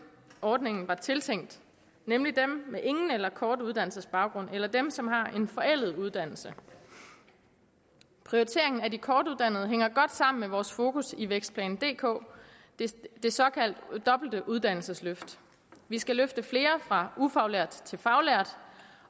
ordningen var tiltænkt nemlig dem med ingen eller kort uddannelsesbaggrund eller dem som har en forældet uddannelse prioriteringen af de kortuddannede hænger godt sammen med vores fokus i vækstplan dk det såkaldte dobbelte uddannelsesløft vi skal løfte flere fra ufaglært til faglært